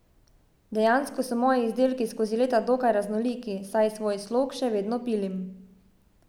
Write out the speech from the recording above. Dejansko so moji izdelki skozi leta dokaj raznoliki, saj svoj slog še vedno pilim.